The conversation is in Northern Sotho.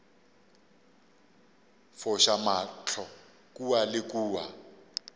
foša mahlo kua le kua